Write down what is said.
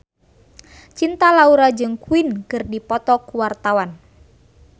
Cinta Laura jeung Queen keur dipoto ku wartawan